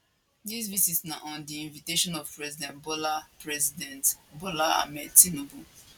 dis visit na on di invitation of president bola president bola ahmed tinubu